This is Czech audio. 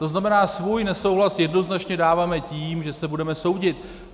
To znamená, svůj nesouhlas jednoznačně dáváme tím, že se budeme soudit.